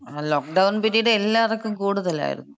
Lockdown period എല്ലാർക്കും കൂടുതലായിരുന്നു.